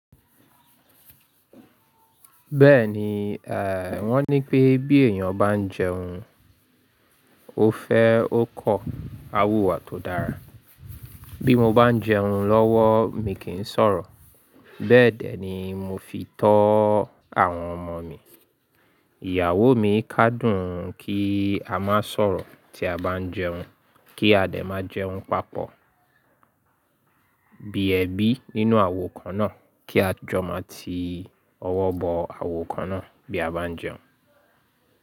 Bẹ́ẹ̀ni, ẹ́ wọ́n ní pé bí èèyàn bá ń jẹun, ó fẹ́ ó kọ́ awùwà tó dára. Bí mo bá ń jẹun lọ́wọ́, mi kì í sọ̀rọ̀. Bẹ́ẹ̀ dẹ̀ ni mo fi tó àwọn ọmọ mi. Ìyàwó mi kádùn kí a má sọ̀rọ̀ tí a bá ń jẹun, kí adẹ̀ má jẹun papọ̀. Bí ẹbí nínú àwo kan náà, kí a jọ má ti ọwọ́ bọ àwo kan náà bí a bá ń jẹun.